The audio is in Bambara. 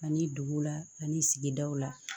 Ani duguw la ani sigidaw la